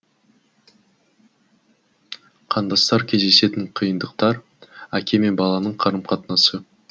қандастар кездесетін қиындықтар әке мен баланың қарым қатынасы